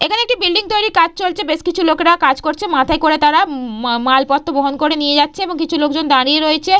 এখানে একটি বিল্ডিং তৈরির কাজ চলছেবেশ কিছু লোকেরা কাজ করছে মাথায় করে তারা উম মাল মালপত্র বহন করে নিয়ে যাচ্ছে এবং কিছু লোকজন দাঁড়িয়ে রয়েছে।